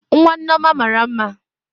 Nwa Nneoma mara mma